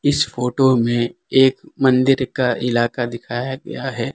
इस फोटो में एक मंदिर का इलाका दिखाया गया है।